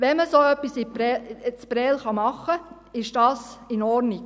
Wenn man so etwas in Prêles machen kann, ist dies in Ordnung.